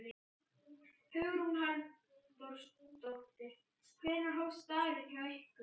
Hugrún Halldórsdóttir: Hvenær hófst dagurinn hjá ykkur?